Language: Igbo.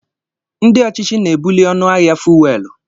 Ndị ọchịchị na-ebuli ọnụ ahịa Fuwelu.